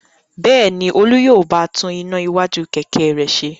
Bẹ́ẹ̀ ni, Olú yóò bá tún iná iwájú kẹ̀kẹ́ rẹ̀ ṣe.